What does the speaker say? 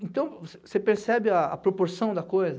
Então, você você percebe a a proporção da coisa?